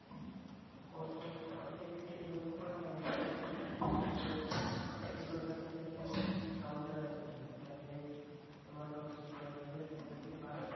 কোন কোন পথ দিয়ে গেছি এইভাবে তো আমরা এখান থেকে আমাদের শিখর গাছা থেকে তো আমাদের কাউন্টার আছে তো। direct তোমার কক্সবাজারের এখান থেকে বাস